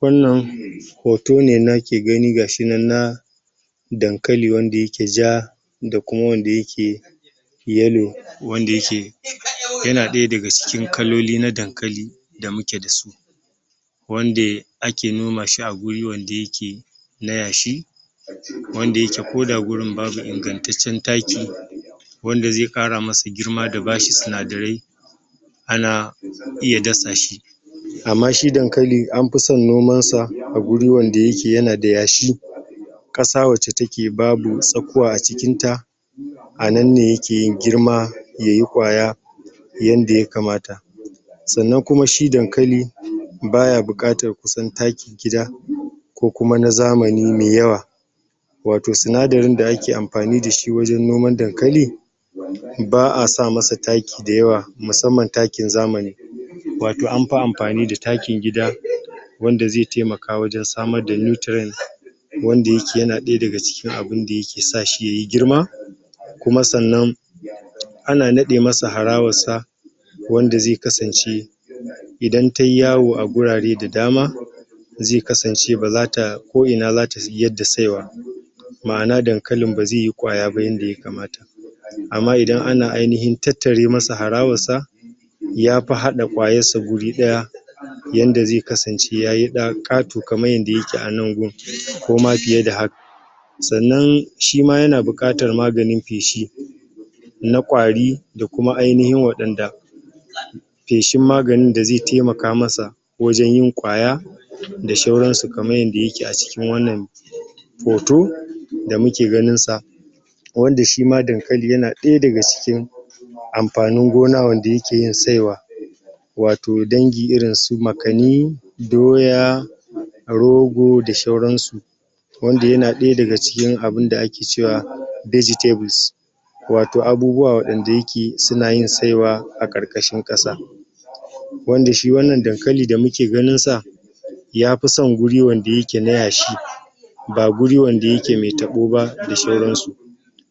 wannan hoto ne nake gani gashi na dankali wanda yake ja da kuma wanda yake yellow wanda yake yana daya daga cikin kaloli na dankali da muke dasu wanda ake noma shi a guri wanda yake na yashi wanda yake gurin koda babu ingantaccen taki wanda zai ƙara mishi girma da bashi sinadarai ana iya dasa shi amma shi dankali an fi san noman sa a guri wanda yake yanda yashi ƙasa wacce take babu tsakuwa a cikin ta anan ne yake yin girma yayi kwaya yanda yakama sannan kuma shi dankali ba buƙatan kusan takin gida ko kuma na zamani mai yawa wato sinadarin da ake amfani dashi wajen noman dankali ba'a sama masa taki dayawa musamman takin zamani wato an fi amfani da takin gida wanda zai taimaka wajen wajen samar da nutrient wanda yake yana daya daga cikin abuda yake sa shi yayi girma kuma sannan ana nade masa harawar sa wanda zai kasance idan tayi yawo a gurare da dama zai kasance ko ina zata yaddda saiwa ma'ana dankalin bazai yi kwaya ba yanda ya kamata amma idan ana ainin tattara masa harawar sa yafi hada kwayar guri daya yanda zai kasance yayi da ƙato kaman yanda yake a nan gun koma fiye da haka sannan shima yana buƙatan maganin feshi na kwari da kuma ainihin wanda feshin maganin da zai taimaka masa wajen yin kwaya da sauran su kamar yanda yake a cikin wannan hoto da muke ganin sa wanda shima dakali yana daya daga cikin amfanin gona wanda yake yin saiwa wato dangi rin su makani doya rogo da sauran su wanda yana daya daga cikin abuda ake cewa vegetables wato abubu wa wanda suna yin saiwa ƙarƙashin ƙasa wanda shi wannna dankalin da muke ganin yafi san guri wanda yake na yashi ba guri wanda yake mai tabo ba da sauran su